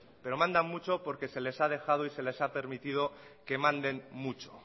pero mandan mucho porque se le ha dejado y porque se les ha permitido que manden mucho